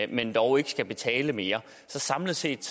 men dog ikke skal betale mere så samlet set